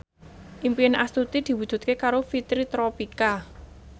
impine Astuti diwujudke karo Fitri Tropika